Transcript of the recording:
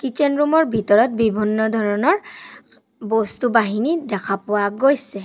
কীটছেন room ৰ ভিতৰত বিভিন্ন ধৰণৰ বস্তু বাহিনী দেখা পোৱা গৈছে।